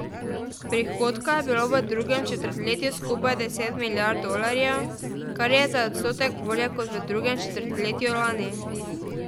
Prihodka je bilo v drugem četrtletju skupaj deset milijard dolarjev, kar je za odstotek bolje kot v drugem četrtletju lani.